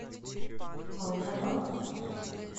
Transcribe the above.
волгодонску